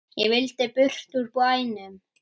Ég vildi burt úr bænum.